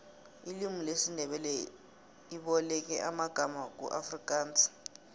ilimu lesindebele iboleke amangama kuafrikansi